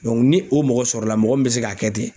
ni o mɔgɔ sɔrɔla mɔgɔ min bɛ se k'a kɛ ten.